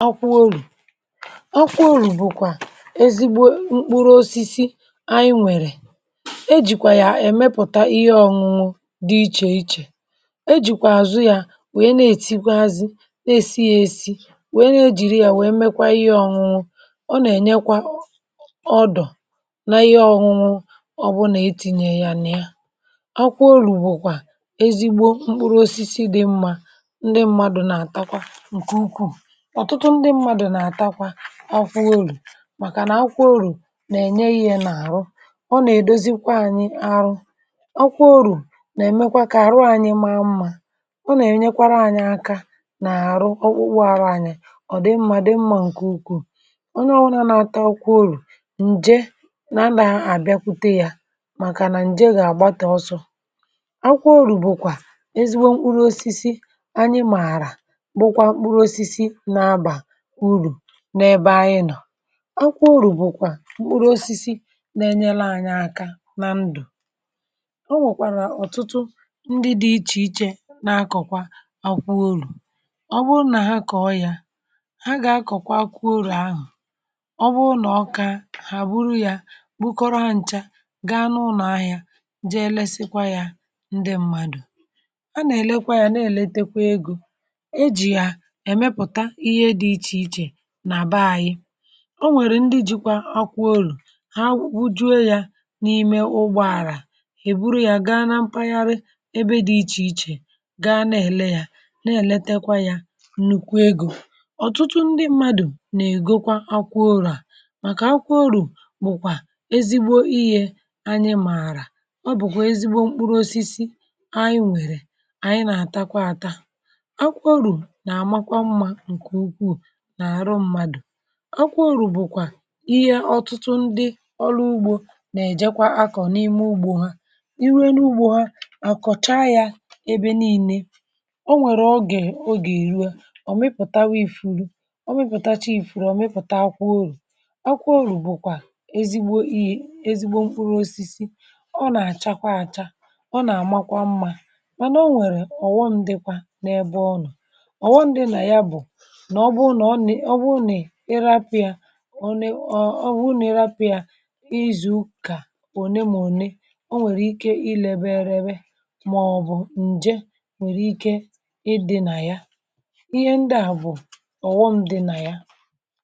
akwụ olù bụ̀kwà ezigbo mkpụrụ osisi anyị nwèrè, um ejìkwà yà èmepùta ihe ọ̇nụ̇nụ̇ dị iche iche, ejìkwà àzụ yȧ nwèe na-ètigwe azị, na-esi ya esi nwèe, na-ejìri yà nwèe mekwa ihe ọ̇nụ̇nụ̇. ọ nà-ènyekwa ọ dọ̀ n’ihe ọ̇nụ̇nụ̇ ọ bụ nà etìnye ya nà ya. akwụ olù bụ̀kwà ezigbo mkpụrụ osisi dị mmȧ, ndị mmadù nà-àtakwa ọfụụ̇ màkànà akwọorȯ nà-ènye yȧ n’àrụ. ọ nà-èdozikwa anyị arụ, ọ kwọọru̇ nà-èmekwa kà àrụ anyị mȧ mmȧ. ọ nà-ènyekwara anyị aka nà-àrụ ọkpụkpụ àrụ anyị. ọ̀ dị mmadụ̇ mmȧ ǹkè ukwuù, ọ nà ọwụnȧ nȧ-atȧ akwọ olù, ǹje nà nà-àbịakwute yȧ màkànà ǹje gà-àgbatị ọsọ. ọkwọorȯ bụ̀kwà ezigbo mkpụrụ osisi anyị mààrà, akwụru̇ bụ̀kwà mkpụrụosisi na-enyere anyị aka nà ndụ̀. o nwèkwà nà ọ̀tụtụ ndị dị̇ iche iche na-akọ̀kwa akwụru̇, ọ bụ nà ha kọ̀ọ yȧ, ha gà-akọ̀kwa akụu urù ahụ̀. ọ bụ nà ọkà hà bụrụ yȧ bukọrọ ha nchȧ gaa n’ụnọ̀ ahịȧ je lesakwa yȧ. ndị mmadụ̀ a nà-èlekwa yȧ na-èletekwa egȯ. o nwèrè ndị jikwa akwụ olù ha wụ̀kwụ juo yȧ n’ime ụgbọàrà, èburu ya gaa nà mpaghara ebe dị̇ iche iche, gaa na-èle yȧ na-eletekwa yȧ nnukwu egȯ. ọ̀tụtụ ndị mmadụ̀ nà ègokwa akwụ olù à, màkà akwụ olù bụ̀kwà ezigbo ihė anyị mààrà, ọ bụ̀kwà ezigbo mkpụrụ osisi anyị nwèrè. um anyị nà àtakwa ata akwụ olù nà àmakwa mmȧ. akwa orù bụ̀kwà ihe ọtụtụ ndị ọrụ ugbȯ nà-èjekwa akọ̀ n’ime ugbȯ ha. i ruo n’ugbȯ ha àkọ̀chaa yȧ ebe nii̇nė, o nwèrè ogè ogè riwe ọ mịpụ̀ta nwa ifu̇ri̇, ọ mịpụ̀tacha ìfùrù, ọ mịpụ̀ta akwụ orù. akwa orù bụ̀kwà ezigbo ihe, ezigbo mkpụrụ osisi. ọ nà-àchakwa àcha, ọ nà-àmakwa mmȧ, mànà o nwèrè ọ̀ghọṅdị̇kwȧ n’ebe ọ nọ̀. ọ̀ghọṅdị̇ nà ya bụ̀ ònye ọ̀, ọ bụrụ nà ịrapị̀ yà, ịzụ̀ kà òne, mȧ òne ọ̀ nwèrè ike ịlėbė ėrėbė màọ̀bụ̀ ǹjė nwèrè ike ịdị̇ nà ya. ihe ndị à bụ̀ ọ̀ghọm dị̇ nà ya.